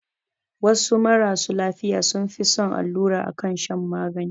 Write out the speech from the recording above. Wasu marasu lafiya sun fi son allura akan shan magani